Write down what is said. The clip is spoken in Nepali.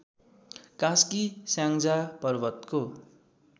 कास्की स्याङ्जा पर्वतको